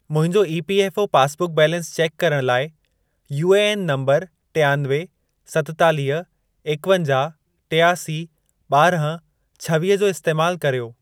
मुंहिंजो EPFO passbook balance check करण लाइ यूएएन नंबर टियानवे, सतेतालिह, एकवंजाह, टियासी, ॿारहं, छवीह जो इस्तैमाल कर्यो।